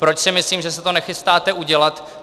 Proč si myslím, že se to nechystáte udělat?